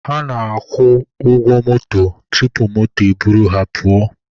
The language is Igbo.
Ha na-agwụ ụgwọ moto tupu moto e buru ha pụọ.